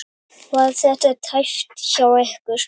Var þetta tæpt hjá ykkur?